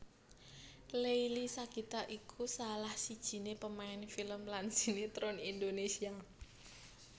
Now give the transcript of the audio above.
Leily Sagita iku salah sijiné pemain film lan sinetron Indonesia